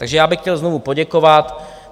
Takže já bych chtěl znovu poděkovat.